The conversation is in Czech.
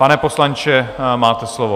Pane poslanče, máte slovo.